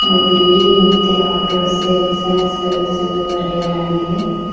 ಇದಿಲ್ಲಿ ಮತ್ತೆ auto sales and service ಎಂದು ಬರೆಯಲಾಗಿದೆ.